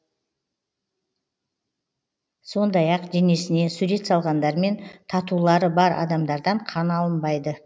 сондай ақ денесіне сурет салғандар мен татулары бар адамдардан қан алынбайды